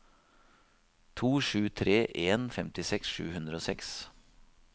to sju tre en femtiseks sju hundre og seks